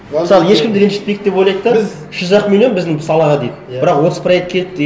мысалы ешкімді ренжітпейік деп ойлайды да біз үш жүз ақ миллион біздің салаға дейді бірақ отыз проект келіпті